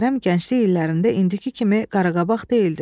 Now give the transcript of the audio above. Kərəm gənclik illərində indiki kimi qaraqabaq deyildi.